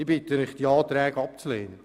Ich bitte Sie, die Anträge abzulehnen.